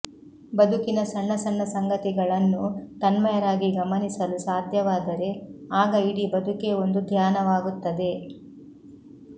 ಬದುಕಿನ ಸಣ್ಣ ಸಣ್ಣ ಸಂಗತಿಗಳನ್ನೂ ತನ್ಮಯರಾಗಿ ಗಮನಿಸಲು ಸಾಧ್ಯವಾದರೆ ಆಗ ಇಡೀ ಬದುಕೇ ಒಂದು ಧ್ಯಾನವಾಗುತ್ತದೆ